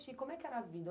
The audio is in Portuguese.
Como é que era a vida?